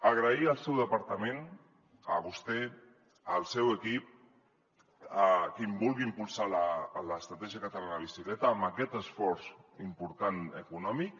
agrair al seu departament a vostè al seu equip que vulguin impulsar l’estratègia catalana de la bicicleta amb aquest esforç important econòmic